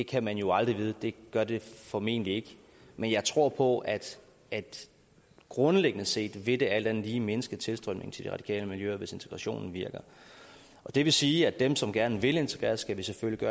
kan man jo aldrig vide det gør det formentlig ikke men jeg tror på at at grundlæggende set vil det alt andet lige mindske tilstrømningen til de radikale miljøer hvis integrationen virker og det vil sige at dem som gerne vil integreres skal vi selvfølgelig